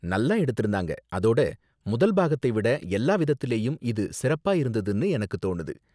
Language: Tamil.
நல்லா எடுத்திருந்தாங்க, அதோட முதல் பாகத்தை விட எல்லா விதத்துலயும் இது சிறப்பா இருந்ததுனு எனக்கு தோணுது.